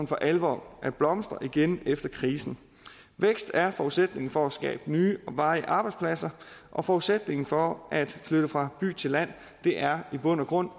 for alvor at blomstre igen efter krisen vækst er forudsætningen for at skabe nye og varige arbejdspladser og forudsætningen for at flytte fra by til land er i bund og grund